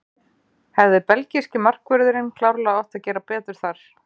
Hefði belgíski markvörðurinn klárlega átt að gera betur þar.